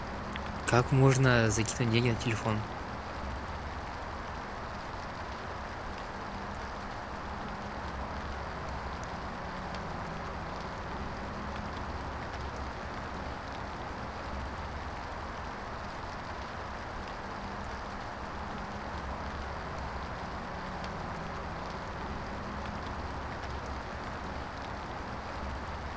как можно закинуть денег на телефон